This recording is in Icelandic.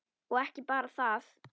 Og ekki bara það: